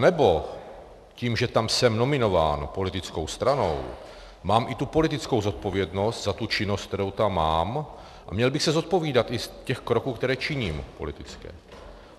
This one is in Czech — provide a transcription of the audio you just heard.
Anebo tím, že tam jsem nominován politickou stranou, mám i tu politickou zodpovědnost za tu činnost, kterou tam mám, a měl bych se zodpovídat i z těch kroků, které činím, politických?